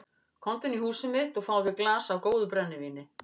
Komdu inn í húsið mitt og fáðu þér í glas af góðu brennivíni.